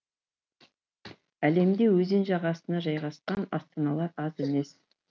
әлемде өзен жағасына жайғасқан астаналар аз емес